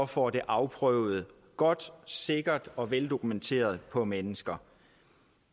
får det afprøvet godt sikkert og veldokumenteret på mennesker